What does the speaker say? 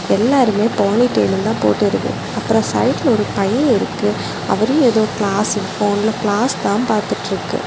எல்லாருமே போனிட்டெயில் தான் போட்டு இருக்கு அப்ரோ சைடுல ஒரு பை இருக்கு அவரு ஏதோ கிளாஸ் போன்ல கிளாஸ் தான் பாத்துட்டு இருக்கு.